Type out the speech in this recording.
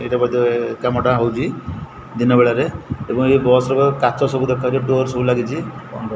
ଏଇଟା ବୋଧେ କାମଟା ହୋଉଚି ଦିନ ବେଳାରେ ଏବଂ ଏ ବସ ର ବୋ କାଚ ସବୁ ଦେଖାହୋଉଚି ଡୋର ସବୁ ଲାଗିଚି।